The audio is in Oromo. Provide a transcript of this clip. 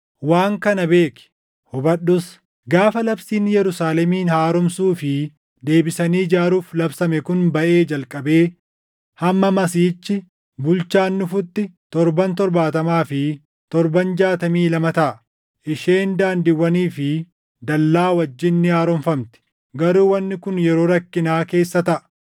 “Waan kana beeki; hubadhus: Gaafa labsiin Yerusaalemin haaromsuu fi deebisanii ijaaruuf labsame kun baʼee jalqabee hamma Masiihichi, Bulchaan dhufutti ‘torban’ torbaatamaa fi torban jaatamii lama taʼa. Isheen daandiiwwanii fi dallaa wajjin ni haaromfamti; garuu wanni kun yeroo rakkinaa keessa taʼa.